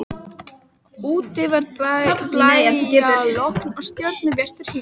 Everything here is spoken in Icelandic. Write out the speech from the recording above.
Úti var blæjalogn og stjörnubjartur himinn.